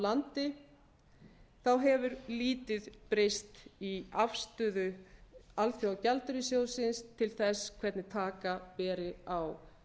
landi hefur lítið breyst í afstöðu alþjóðagjaldeyrissjóðsins til þess hvernig taka beri á